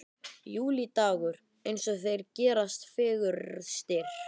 Júlídagur eins og þeir gerast fegurstir.